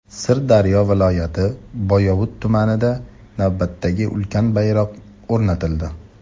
Sirdaryo viloyati Boyovut tumanida navbatdagi ulkan bayroq o‘rnatildi.